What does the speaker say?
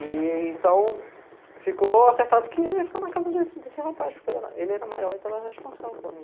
E, então, ficou acertado que eu ia ficar na casa desse rapaz, porque ele era maior, então ele era responsável por mim.